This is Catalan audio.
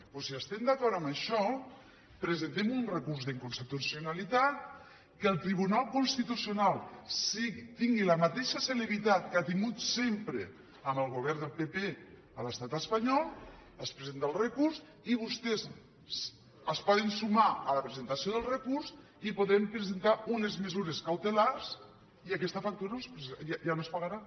doncs si estem d’acord en això presentem un recurs d’inconstitucionalitat que el tribunal constitucional tingui la mateixa celeritat que ha tingut sempre amb el govern del pp a l’estat espanyol es presenta el recurs i vostès es poden sumar a la presentació del recurs i podrem presentar unes mesures cautelars i aquesta factura ja no es pagarà